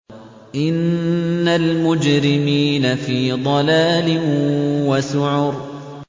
إِنَّ الْمُجْرِمِينَ فِي ضَلَالٍ وَسُعُرٍ